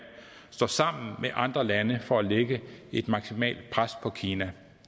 står sammen med andre lande for at lægge et maksimalt pres på kina